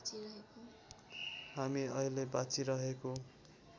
हामी अहिले बाँचिरहेको